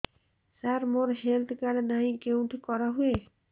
ସାର ମୋର health card ନାହିଁ କେଉଁଠି କରା ହୁଏ